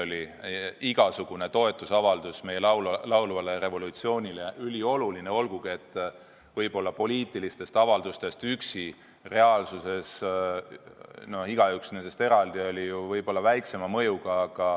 Ka igasugune toetusavaldus meie laulvale revolutsioonile oli ülioluline, olgugi et poliitilistest avaldustest igaüks eraldi, üksi oli reaalsuses võib-olla väiksema mõjuga.